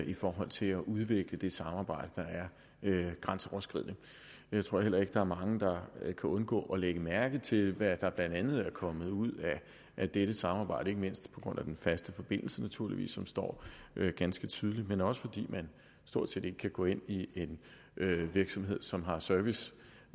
i forhold til at udvikle det samarbejde der er grænseoverskridende jeg tror heller ikke at der er mange der kan undgå at lægge mærke til hvad der blandt andet er kommet ud af dette samarbejde ikke mindst på grund af den faste forbindelse naturligvis som står ganske tydelig men også fordi man stort set ikke kan gå ind i en virksomhed som har service